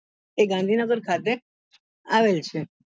એ ગાંધીનગર ખાતે આવેલ છે